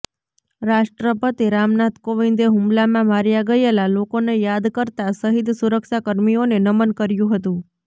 રાષ્ટ્રપતિ રામનાથ કોવિંદે હુમલામાં માર્યા ગયેલા લોકોને યાદ કરતાં શહિદ સુરક્ષા કર્મીઓને નમન કર્યું હતું